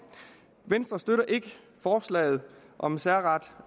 venstre støtter ikke forslaget om en særret